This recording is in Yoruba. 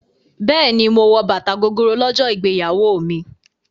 Bẹ́ẹ̀ni, mo wọ bàtà Gogoro lọ́jọ́ ìgbéyàwó mi.